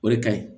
O de ka ɲi